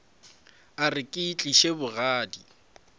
a re ke itlišitše bogadi